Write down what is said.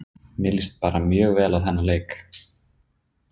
Mér líst bara mjög vel á þennan leik.